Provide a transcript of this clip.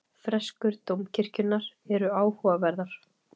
Freskur dómkirkjunnar eru áhugaverðar.